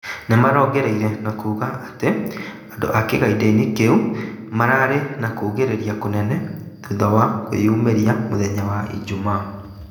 Nĩmarongereire na kuga atĩ andũ kigaanda-inĩ kĩu "mararĩ na kũgĩrĩria kũnene" thutha wake kwĩyumĩria mũthenya ijumaa.